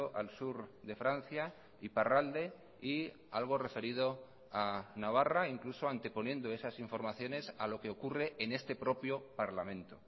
al sur de francia iparralde y algo referido a navarra incluso anteponiendo esas informaciones a lo que ocurre en este propio parlamento